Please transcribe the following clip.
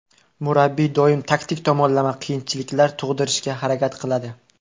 Murabbiy doim taktik tomonlama qiyinchiliklar tug‘dirishga harakat qiladi.